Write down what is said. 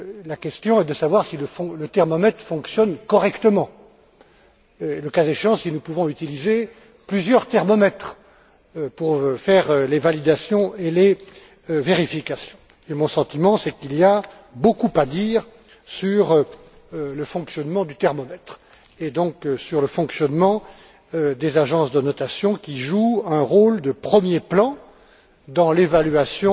La question est de savoir si le thermomètre fonctionne correctement et, le cas échéant, si nous pouvons utiliser plusieurs thermomètres pour faire les validations et les vérifications. Et mon sentiment, c'est qu'il y a beaucoup à dire sur le fonctionnement du thermomètre, et donc sur le fonctionnement des agences de notation qui jouent un rôle de premier plan dans l'évaluation